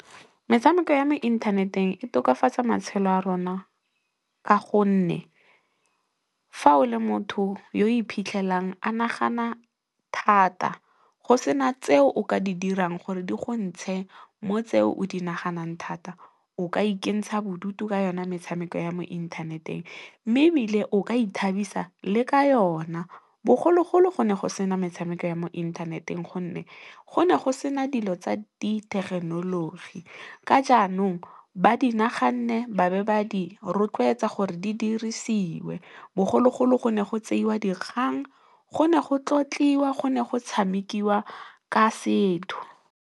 Metshameko ya mo inthaneteng e tokafatsa matshelo a rona ka gonne, fa o le motho yo iphitlhelang a nagana thata, go sena tseo o ka di dirang gore di go ntshe mo tseo o di naganang thata, o ka ikentsha bodutu ka yona metshameko ya mo inthaneteng mme, ebile o ka ithabisa le ka yona. Bogologolo, go ne go sena metshameko ya mo inthaneteng gonne, go ne go sena dilo tsa di thekenoloji ka jaanong, ba di naganne ba be ba di rotloetsa gore di dirisiwe, bogologolo go ne go tseiwa dikgang go ne go tlotliwa go ne go tshamekiwa ka setho.